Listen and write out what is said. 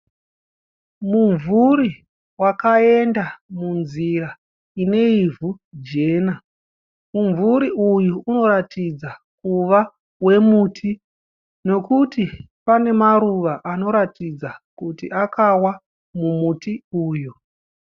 Mumvuri wakaenda munzira ine ivhu jena. Mumvuri uyu unoratidza kuva wemuti nekuti pane maruva anoratidza kuti akawa mumuti uyu.